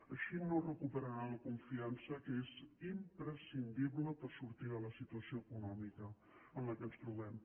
així no recuperarà la confiança que és imprescindible per sortir de la situació econòmica en què ens trobem